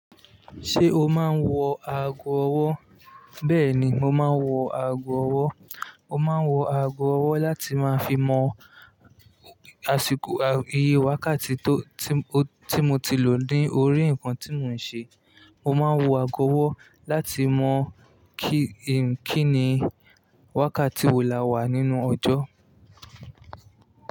Ṣé o máa ń wọ ago-ọwọ́? Bẹ́ẹ̀ni, mo máa ń wọ aago ọwọ́. Mo máa ń wọ ago-ọwọ́ láti máa fi mọ àsìkò, iye wákàtí tó, tí mo ti lò ní orí nǹkan tí mò ń ṣe. Mo máa ń wọ ago-ọwọ́ láti mọ kíì, kíni wákàtí wo la wà nínú ọjọ́